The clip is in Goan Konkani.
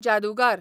जादूगार